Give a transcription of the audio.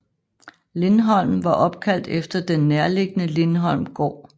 Lindholm var opkaldt efter den nærliggende Lindholm gård